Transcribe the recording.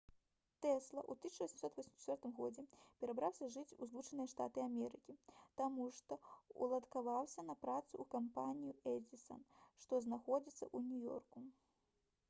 тэсла ў 1884 г. перабраўся жыць ў злучаныя штаты амерыкі таму што ўладкаваўся на працу ў кампанію «эдзісан» што знаходзіцца ў нью-ёрку